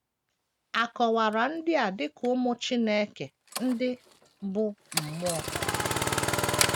A kọwara ndị a dị ka “ ụmụ Chineke ” ndị bụ́ mmụọ.